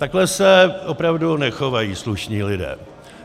Takhle se opravdu nechovají slušní lidé.